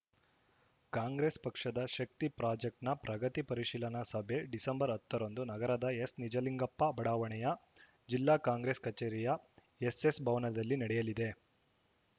ಕಾಂಗ್ರೆಸ್‌ ಪಕ್ಷದ ಶಕ್ತಿ ಪ್ರಾಜೆಕ್ಟ್ನ ಪ್ರಗತಿ ಪರಿಶೀಲನಾ ಸಭೆ ಡಿಸೆಂಬರ್ ಹತ್ತರಂದು ನಗರದ ಎಸ್‌ನಿಜಲಿಂಗಪ್ಪ ಬಡಾವಣೆಯ ಜಿಲ್ಲಾ ಕಾಂಗ್ರೆಸ್‌ ಕಚೇರಿಯ ಎಸ್‌ಎಸ್‌ ಭವನದಲ್ಲಿ ನಡೆಯಲಿದೆ